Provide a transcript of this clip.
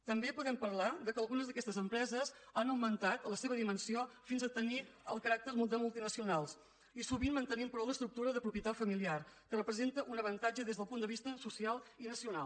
també podem parlar del fet que algunes d’aquestes empreses han augmentat la seva dimensió fins a tenir el caràcter de multinacionals i sovint mantenint però l’estructura de propietat familiar que representa un avantatge des del punt de vista social i nacional